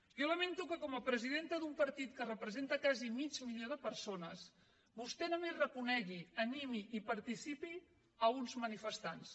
jo lamento com a presidenta d’un partit que representa quasi mig milió de persones que vostè només reconegui animi i participi a uns manifestants